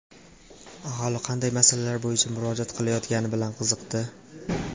Aholi qanday masalalar bo‘yicha murojaat qilayotgani bilan qiziqdi.